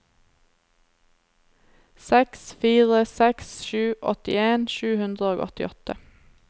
seks fire seks sju åttien sju hundre og åttiåtte